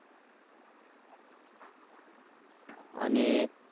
आणि अह